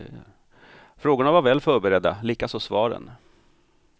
Frågorna var väl förberedda, likaså svaren.